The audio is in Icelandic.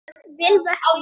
Vel vöknuð!